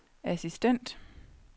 assistent